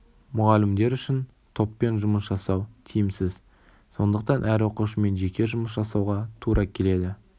мұғалімдер үшін топпен жұмыс жасау тиімсіз сондықтан әр оқушымен жеке жұмыс жасауға тура келеді